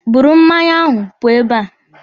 Buru mmanya ahụ pụọ ebe a!